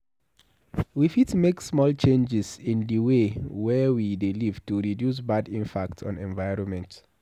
We fit make small changes in di wey we dey live to reduce bad impact on environment